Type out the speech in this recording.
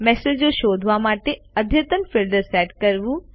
મેસેજો શોધવા માટે અદ્યતન ફિલ્ટર્સ સેટ કરવું